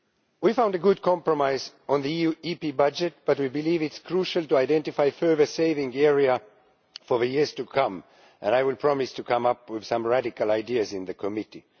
We found a good compromise on the EU EP budget, but we believe it is crucial to identify further saving areas for years to come, and I would promise to come up with some radical ideas in the committee.